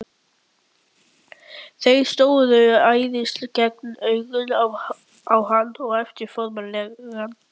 Þeir störðu æðisgengnum augum á hann og æptu formælingar.